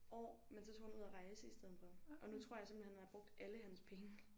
År men så tog han ud og rejse i stedet for og nu tror jeg simpelthen han har brugt alle hans penge